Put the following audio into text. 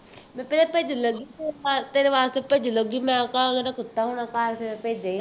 ਮੈਂ ਪਹਿਲਾਂ ਭੇਜਣ ਲੱਗੀ ਸੀ, ਤੇਰੇ ਵਾਸਤੇ ਤੇਰੇ ਵਾਸਤੇ ਭੇਜਣ ਲੱਗੀ, ਮੈਂ ਕਿਹਾ ਇਹਨਾ ਦਾ ਕੁੱਤਾ ਹੋਣਾ ਤਾਂ ਕਰਕੇ ਮੈਂ ਭੇਜੇ ਹੀ ਨਹੀਂ